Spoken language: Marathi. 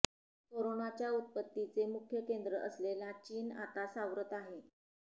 कोरोनाच्या उत्पत्तीचे मुख्य केंद्र असलेला चीन आता सावरत आहे